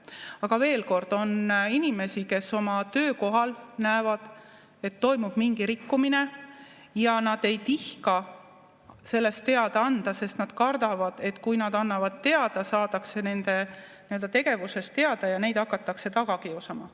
Aga veel kord: on inimesi, kes oma töökohal näevad, et toimub mingi rikkumine, ja nad ei tihka sellest teada anda, sest nad kardavad, et kui nad annavad teada, saadakse nende tegevusest teada ja neid hakatakse taga kiusama.